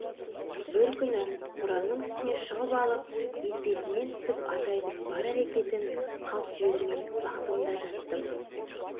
бір күні кораның үстіне шығып алып етбетімнен түсіп атайдың бар әрекетін қалт жібермей бақтым да жаттым